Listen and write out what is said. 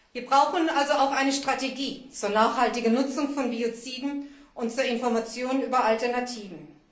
Wir brauchen also auch eine Strategie zur nachhaltigen Nutzung von Bioziden und zur Information über Alternativen.